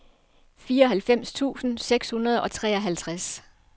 fireoghalvfems tusind seks hundrede og treoghalvtreds